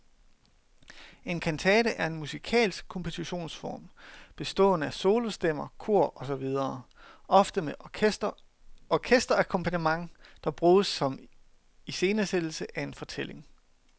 En kantate er en musikalsk kompositionsform, bestående af solostemmer, kor og så videre, ofte med orkesterakkompagnement, der bruges som iscenesættelse af en fortælling.